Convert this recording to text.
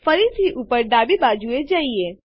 ફરીથી ઉપર ડાબી બાજુએ જઈએ